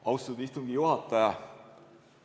Austatud istungi juhataja!